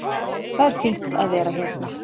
Það er fínt að vera hérna.